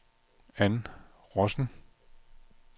Ann Rossen